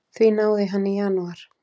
Því náði hann í janúar.